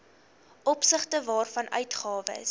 opsigte waarvan uitgawes